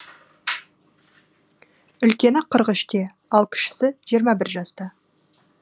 үлкені қырық үште ал кішісі жиырма бір жаста